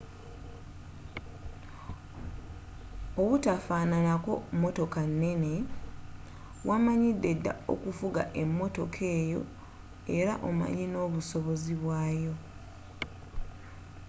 obutafaananako motoka neene wamanyideda okufuga emotoka yo era omanyi n'obusobozi bwayo